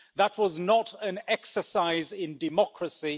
That was not an exercise in democracy.